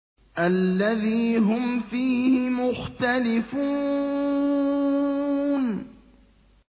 الَّذِي هُمْ فِيهِ مُخْتَلِفُونَ